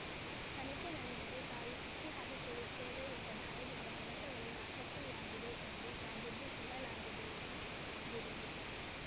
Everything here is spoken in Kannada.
ತನಿಖೆ ನಡೆದರೆ ತಾವು ಸಿಕ್ಕಿಹಾಕಿಕೊಳ್ಳುತ್ತೇವೆ ಎಂಬ ಭಯದಿಂದ ಕಡತಗಳು ನಾಪತ್ತೆಯಾಗಿವೆ ಎಂದು ಸಬೂಬು ಹೇಳಲಾಗಿದೆ ಎಂದು ದೂರಿದರು